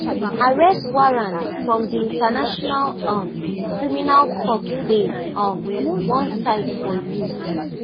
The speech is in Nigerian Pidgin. arrest warrant from di international um criminal court dey um one side for you